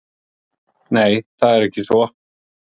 Nei, það er ekki svo.